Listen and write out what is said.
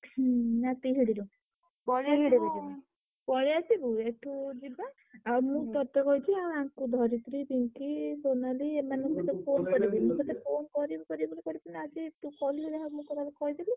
ନା ତିହିଡୁ ରୁ। ପଳେଇଆସିବୁ ଏଠୁ ଯିବା। ଆଉ ମୁଁ ତତେ କହିଛି। ଆଉ ଆଙ୍କୁ ଧରିତ୍ରୀ, ସୋନାଲୀ ଏମାନଙ୍କୁ ତ phone କରିବି। ମୁଁ ତତେ phone କରିବି କରିବି ବୋଲି କରିପାଇଲିନି ଆଜି ତୁ କଲୁ ଯାହା ହଉ ମୁଁ ତତେ କହିଦେଲି।